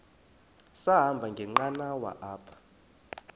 sahamba ngenqanawa apha